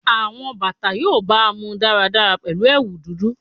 Awọn bata yoo baamu daradara pẹlu ẹwu dudu